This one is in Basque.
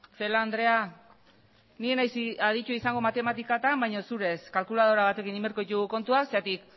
celaá andrea ni ez naiz aditua izango matematikatan baina zu ere ez kalkuladora batekin egin beharko ditugu kontuak zergatik